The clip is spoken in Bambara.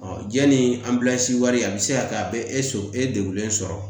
jɛni wari a bɛ se ka kɛ a bɛ e so e degulen sɔrɔ